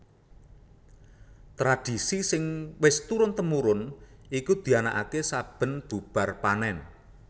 Tradhisi sing wis turun tumurun iku dianakaké saben bubar panèn